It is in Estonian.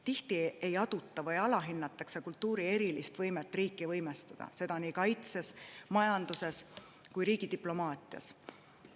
Tihti ei aduta või alahinnatakse kultuuri erilist võimet riiki võimestada, seda nii kaitses, majanduses kui ka riigi diplomaatias.